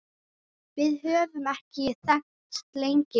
Við höfum þekkst lengi